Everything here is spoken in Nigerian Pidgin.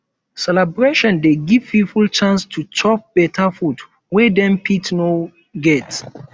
celebration dey give pipo chance to chop beta food wey dem fit no get